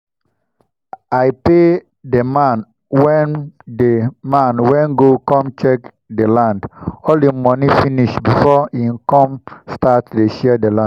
i pay dey man wen dey man wen go com check dey land all him moni finis before him come start dey share d land